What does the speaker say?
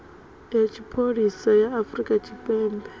ya tshipholisa ya afrika tshipembe